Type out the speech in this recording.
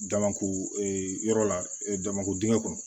Damako yɔrɔ la damako dingɛ kɔnɔ